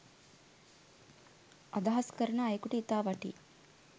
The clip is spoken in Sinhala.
අදහස් කරන අයකුට ඉතා වටී.